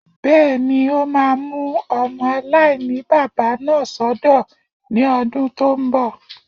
Bẹ́ẹ̀ni, o máa mú ọmọ aláìní-baba náà sọ́dọ̀ ní ọdún tó n bọ̀